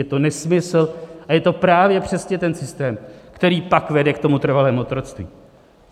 Je to nesmysl a je to právě přesně ten systém, který pak vede k tomu trvalému otroctví.